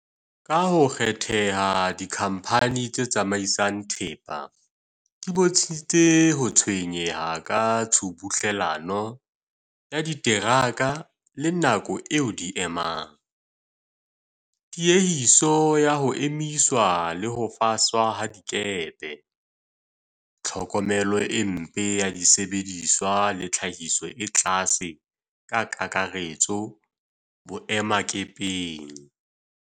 Ka ho kgetheha, dikhamphani tse tsamaisang thepa di bontshitse ho tshwenyeha ka tshubuhlellano ya diteraka le nako eo di e emang, tiehiso ya ho emiswa le ho faswa ha dikepe, tlhokomelo e mpe ya disebediswa le tlhahiso e tlase ka kakaretso boemakepeng.